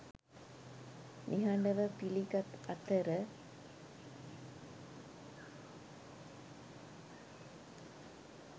නිහඬව පිළිගත් අතර